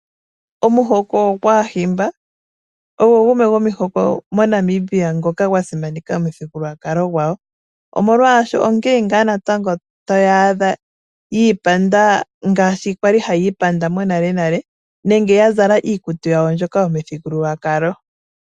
Omuhoko gwaAahimba ogo gumwe gwomihoko moNamibia ngoka gwa simaneka omithigululwakalo dhawo omolwaasho onkee ngaa taya adha yi ipanda ngaashi kwali hayi ipanda monalenale nenge ya zala iikutu yawo mbyoka yomuthigululwakalo.